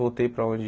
Voltei para onde...